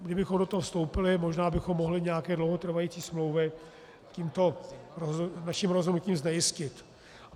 Kdybychom do toho vstoupili, možná bychom mohli nějaké dlouhotrvající smlouvy tímto naším rozhodnutím znejistit.